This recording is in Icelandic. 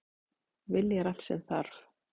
Vilji er allt sem þarf!